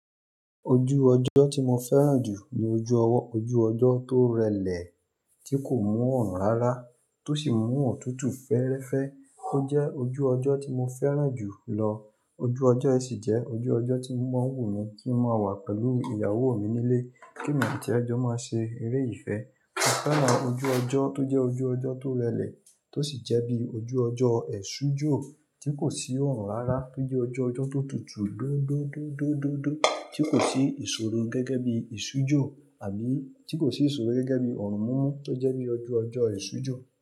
Ojú ọjọ́ tí mo fẹ́ràn jù ní ojú ọwọ́, ojú ọjọ́ tó rẹlẹ̀ tí kò mú ọ̀run rárá tó sì mú ọ̀tútù fẹ́ẹ́rẹ́fẹ́. Ó jẹ́ ojú ọjọ́ tí mo fẹ́ràn jù lọ. Ojú ọjọ́ ẹ sì jẹ́ ojú ọjọ́ tí mọ̀ wù mí kí n máa wà pẹ̀lú ìyàwó mi nílé, kí èmi àti ẹ jọ máa ṣe eré ìfẹ́. Mo fẹ́ràn ojú ọjọ́ tó jẹ́ ojú ọjọ́ tó rẹlẹ̀ tó sì jẹ́ bí ojú ọjọ́ èṣùjọ ti kò sí ọ̀run rárá tó jẹ́ ojú ọjọ́ tó tutù dódóódódódó tí kò sí ìṣòro gẹ́gẹ́ bí ìṣùjọ àbí tí kò sí ìṣòro gẹ́gẹ́ bí ọ̀run n mú tó jẹ́ bí ojú ọjọ́ èṣùjọ.